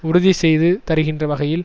உறுதி செய்து தருகின்ற வகையில்